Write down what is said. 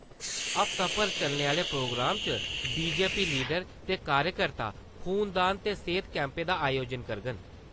हफ्ताभर चलने आहले प्रोग्राम च बीजेपी लीडर ते कार्यकर्ता खूनदान ते सेहत कैम्पें दा आयोजन करङन ।